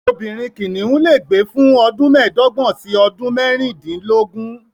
Obìnrin kìnìún lè gbé fún ọdún mẹ́ẹ̀dọ́gbọ̀n sí mẹ́rìndínlógún.